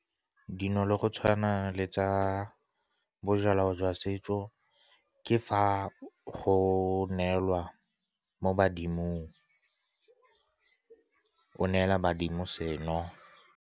Dino le go tshwana le tsa bojalwa jwa setso ke fa go neelwa mo badimong, o neela badimo seno.